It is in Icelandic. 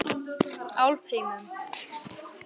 Álfheimum